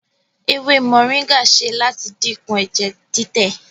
ewé moringa ṣe láti dínkù ẹjẹ titẹ.